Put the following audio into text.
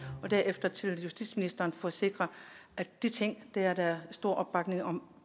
og derefter til justitsministeren for at sikre at de ting til der er stor